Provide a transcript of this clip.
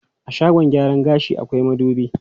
A shagon gyaran gashi akwai madubi.